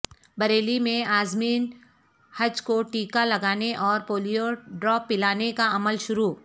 بریلی میں عازمین حج کو ٹیکہ لگانے اور پولیو ڈراپ پلانے کا عمل شروع